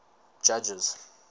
judges